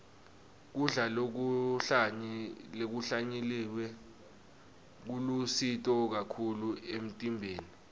kudla lokuhlanyeliwe kulusito kakhulu emtimbeni